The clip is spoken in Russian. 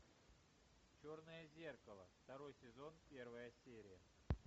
черное зеркало второй сезон первая серия